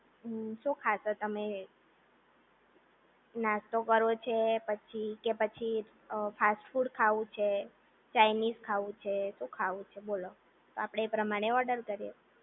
હમ્મ શું ખાશો તમે? નાસ્તો કરવો છે પછી કે પછી ફાસ્ટ ફૂડ ખાવું છે ચાઈનીઝ ખાવું છે શું ખાવું છે બોલો? તો આપડે એ પ્રમાણે ઓર્ડર કરીએ.